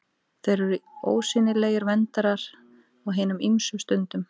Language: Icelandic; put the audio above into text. Þeir eru ósýnilegir verndarar á hinum ýmsu stundum.